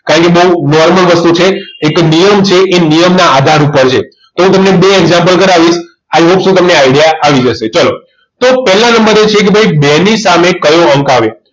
કહી દવ normal વસ્તુ છે એક નિયમ છે એ નિયમના આધાર ઉપર છે એ હું તમને બે example કરાવીશ i hopes તમને idea આવી જશે ચલો તો પહેલા નંબર એ છે કે ભાઈ બે ની સામે કયો અંક આવે